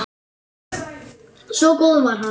Svo góður var hann.